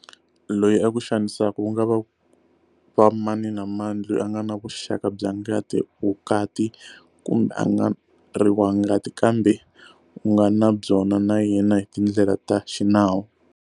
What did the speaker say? Loyi a ku xanisaka ku nga va mani na mani loyi u nga na vuxaka bya ngati, vukati kumbe a nga ri wa ngati kambe u nga na byona na yena hi tindlela ta xinawu.